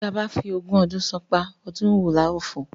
Tí a bá fi ogún ọdún ṣánpá, ọdún wo la ó fò?